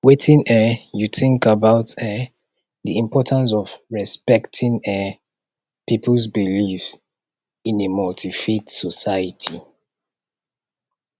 wetin um you think about um di importance of respecting um peoples beliefs in a multifaith society